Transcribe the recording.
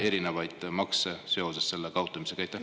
… erinevaid makse seoses selle kaotamisega?